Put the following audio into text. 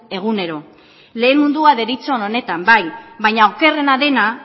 egunero lehen mundua deritzon honetan bai baina okerrena dena